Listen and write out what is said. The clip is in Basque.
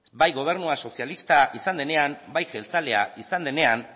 bai gobernua sozialista izan denean bai jeltzalea izan denean